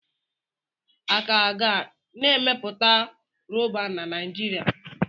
A ka ga na emepụta Rọba na Naijiria.